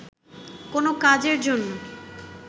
কোনো কাজের জন্য